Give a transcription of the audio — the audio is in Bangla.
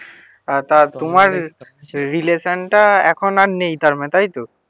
তা তোমার রিলেসান টা এখন আর নেই তার মানে তাই তো?